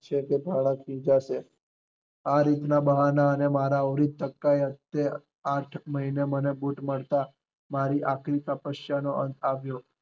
છેવટે ભાણા ખીજશે, આ રીત ના બહાના અને આવૃતકકાએ આઠેક મહિને મને બુટ મારી આખરી તપસ્યા નો અંત આવ્યો.